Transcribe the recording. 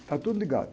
Está tudo ligado.